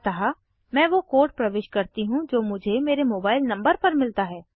अतः मैं वो कोड प्रविष्ट करती हूँ जो मुझे मेरे मोबाइल नंबर पर मिलता है